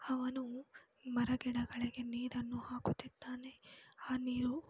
ಅವನು ಮರಗಿಡಗಳಿಗೆ ನೀರನ್ನು ಹಾಕುತ್ತಿದ್ದಾನೆ ಆ ನೀರು --